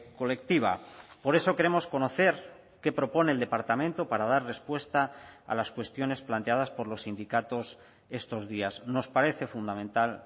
colectiva por eso queremos conocer qué propone el departamento para dar respuesta a las cuestiones planteadas por los sindicatos estos días nos parece fundamental